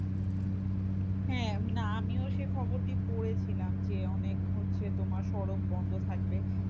হ্যাঁ না আমিও সে খবরটি পড়েছিলাম যে অনেক হচ্ছে তোমার সড়ক বন্ধ থাকবে।